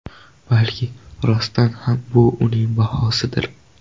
Balki, rostdan ham bu uning bahosidir.